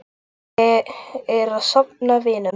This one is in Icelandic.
Ég er að safna vinum.